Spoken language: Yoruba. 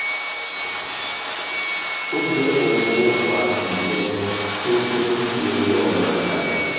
ó jẹ́ ohun tó ń fa ìjẹun tó ń jẹ́ kí irun náà máa dà nù